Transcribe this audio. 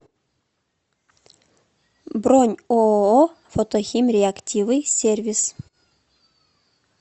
бронь ооо фотохимреактивы сервис